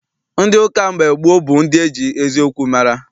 Ndị ụka mgbe gboo bụ ndị eji eziokwu mara.